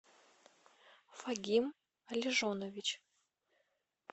фагим алижонович